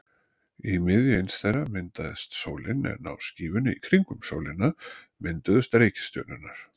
Í miðju eins þeirra myndaðist sólin en á skífunni í kringum sólina mynduðust reikistjörnurnar.